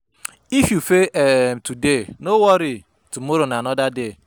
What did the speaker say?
If you fail um today, no worry, tomorrow na anoda day.